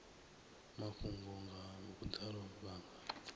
mafhungo nga vhudalo vha nga